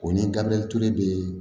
O ni gabiriyɛri ture bɛ